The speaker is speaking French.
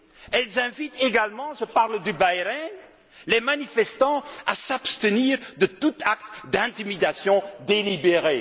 dit? Ils invitent également je parle de Bahreïn les manifestants à s'abstenir de tout acte d'intimidation délibéré.